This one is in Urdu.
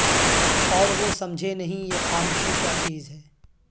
اور وہ سمجھے نہیں یہ خامشی کیا چیز ہے